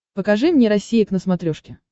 покажи мне россия к на смотрешке